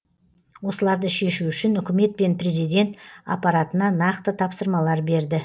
осыларды шешу үшін үкімет пен президент аппаратына нақты тапсырмалар берді